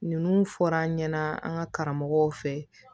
Ninnu fɔra an ɲɛna an ka karamɔgɔw fɛ